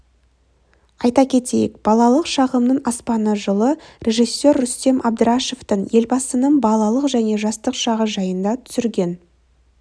айта кетейік балалық шағымның аспаны жылы режиссер рүстем әбдірашевтың елбасының балалық және жастық шағы жайында түсірген